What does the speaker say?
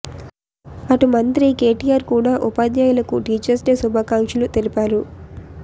అటు మంత్రి కేటీఆర్ కూడా ఉపాధ్యాయులకు టీచర్స్ డే శుభాకాంక్షలు తెలిపారు